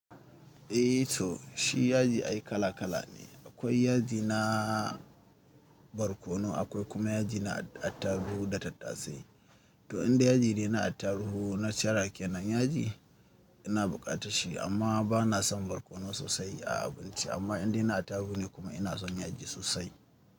Eh to shi yaji ai kala kala ne. Akwai yaji na barkono, akwai kuma yaji na attaruhu da tattasai. To inda yaji dai na attaruhu na cire a kenan yaji ina bukatar shi amma bana son barkono sosai a abinci. Amma inda na attaruhu ne kuma ina son yaji sosai.